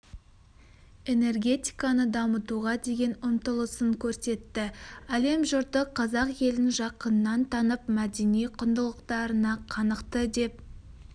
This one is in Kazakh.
энергетиканы дамытуға деген ұмтылысын көрсетті әлем жұрты қазақ елін жақыннан танып мәдени құндылықтарына қанықты деп